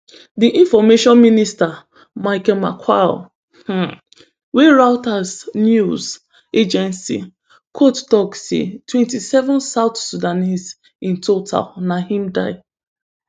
di information minister michael makuei um wey reuters news agency quote tok say twentyseven south sudanese in total na im die